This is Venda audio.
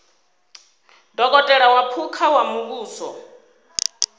dokotela wa phukha wa muvhuso